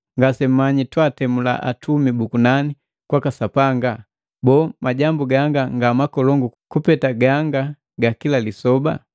Ngasemmanyi twatemula atumi bu kunani kwaka Sapanga? Boo, majambu ganga nga makolongu kupeta ganga ga kila lisoba?